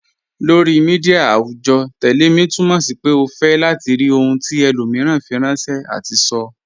Lọri míḍíà awùjọ́, "tẹlẹ̀ mi" túmọ̀ sí pé o fẹ́ látì rí ohun tí ẹlòmíran fíranṣẹ̀ àti sọ́.